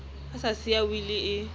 a sa siya wili e